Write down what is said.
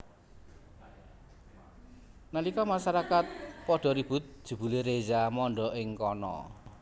Nalika masarakat padha ribut jebulé Reza mondhok ing kana